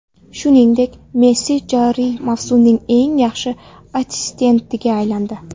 Shuningdek, Messi joriy mavsumning eng yaxshi assistentiga aylandi.